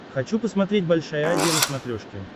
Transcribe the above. хочу посмотреть большая азия на смотрешке